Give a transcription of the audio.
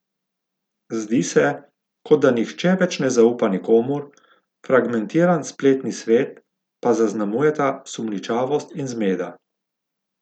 Zdi se, kot da nihče več ne zaupa nikomur, fragmentiran spletni svet pa zaznamujeta sumničavost in zmeda.